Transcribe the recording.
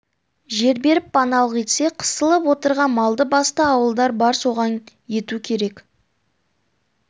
жер беріп паналық етсе қысылып отырған малды-басты ауылдар бар соған ету керек